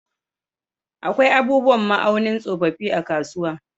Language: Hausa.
Akwai abubuwan ma'aunin tsofaffi a kasuwa.